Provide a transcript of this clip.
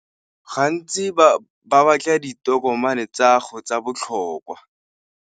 Gantsi ba batla ditokomane tsa 'go tsa botlhokwa.